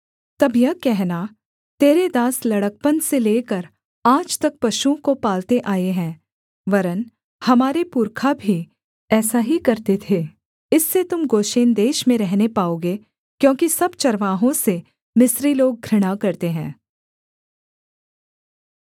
तब यह कहना तेरे दास लड़कपन से लेकर आज तक पशुओं को पालते आए हैं वरन् हमारे पुरखा भी ऐसा ही करते थे इससे तुम गोशेन देश में रहने पाओगे क्योंकि सब चरवाहों से मिस्री लोग घृणा करते हैं